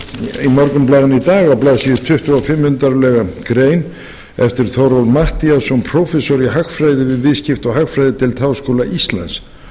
blaðsíðu tuttugu og fimm undarlega grein eftir þórólf matthíasson prófessor í hagfræði við viðskipta og hagfræðideild háskóla íslands